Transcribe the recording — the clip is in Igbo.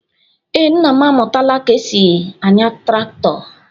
Ee, nna m amụtaala ka e si anya traktọ.